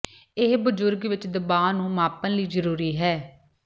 ਇਹ ਬਜ਼ੁਰਗ ਵਿਚ ਦਬਾਅ ਨੂੰ ਮਾਪਣ ਲਈ ਜ਼ਰੂਰੀ ਹੈ